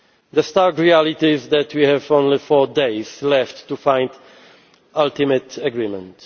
naïve. The stark reality is that we have only four days left to find ultimate agreement.